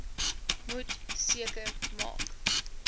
moet seker maak